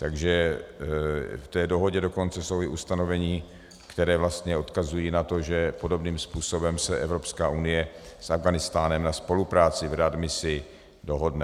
Takže v té dohodě dokonce jsou i ustanovení, která vlastně odkazují na to, že podobným způsobem se Evropská unie s Afghánistánem na spolupráci v readmisi dohodne.